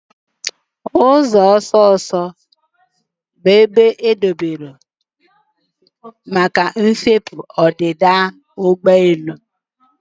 Ụzọ ọsọ ọsọ bụ ibe edobere maka mfepu na ọdịda ụgbọ elu.